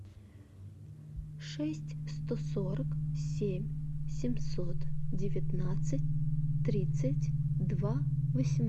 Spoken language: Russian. шесть сто сорок семь семьсот девятнадцать тридцать два